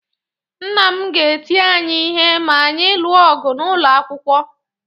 Nna m ga-eti anyị ihe ma anyị lụọ ọgụ n’ụlọ akwụkwọ.